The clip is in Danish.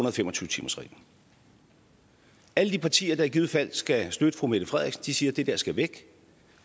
og fem og tyve timers reglen alle de partier der i givet fald skal støtte fru mette frederiksen siger at det der skal væk